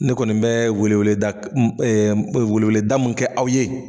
Ne kɔni bɛ weleweleda weleweleda min kɛ aw ye.